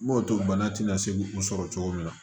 N m'o to bana tɛna se u sɔrɔ cogo min na